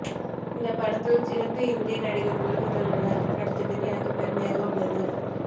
இந்தப் படத்தில் சிறந்த இந்திய நடிகர்கள் சிலருடன் நடித்ததில் எனக்குப் பெருமையாக உள்ளது